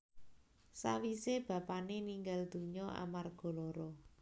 Sawisa bapané ninggal dunya amarga lara